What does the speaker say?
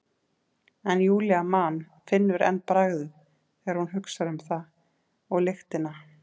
En Júlía man, finnur enn bragðið þegar hún hugsar um það, og lyktina.